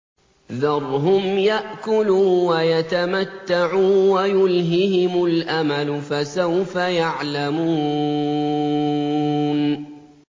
ذَرْهُمْ يَأْكُلُوا وَيَتَمَتَّعُوا وَيُلْهِهِمُ الْأَمَلُ ۖ فَسَوْفَ يَعْلَمُونَ